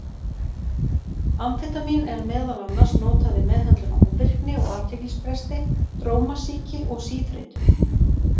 Amfetamín er meðal annars notað við meðhöndlun á ofvirkni og athyglisbresti, drómasýki og síþreytu.